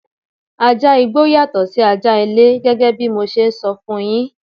Ajá igbó yàtọ̀ sí ajá ilé gẹ́gẹ́ bí mo ṣe sọ fún yín.